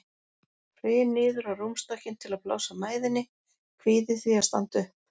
Hryn niður á rúmstokkinn til að blása mæðinni, kvíði því að standa upp.